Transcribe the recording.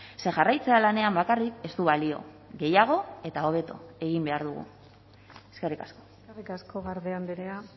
ze jarraitzea lanean bakarrik ez du balio gehiago eta hobeto egin behar dugu eskerrik asko eskerrik asko garde andrea